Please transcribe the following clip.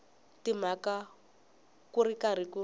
tshama ku ri karhi ku